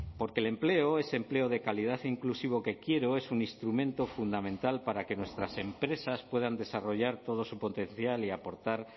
porque el empleo ese empleo de calidad inclusivo que quiero es un instrumento fundamental para que nuestras empresas puedan desarrollar todo su potencial y aportar